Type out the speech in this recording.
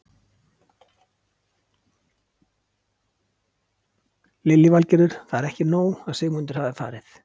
Lillý Valgerður: Það er ekki nóg að Sigmundur hafi farið?